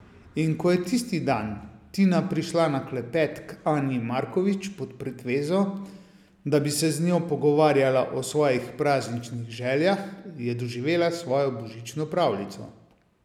In ko je tisti dan Tina prišla na klepet k Anji Markovič pod pretvezo, da bi se z njo pogovarjala o svojih prazničnih željah, je doživela svojo božično pravljico.